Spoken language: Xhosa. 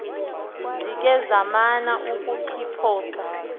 zikhe zamana ukuxiphosa